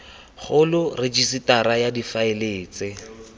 kgolo rejisetara ya difaele tse